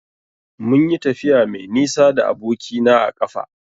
Munyi tafiya mai nisa da aboki na a ƙafa.